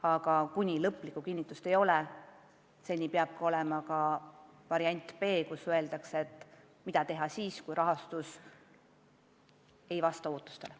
Aga kuni lõplikku kinnitust ei ole, peab meil varuks olema variant B, mida teha siis, kui rahastus ei vasta ootustele.